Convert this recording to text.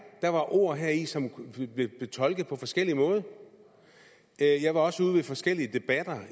der var ord heri som ville blive tolket på forskellig måde jeg jeg var også ude ved forskellige debatter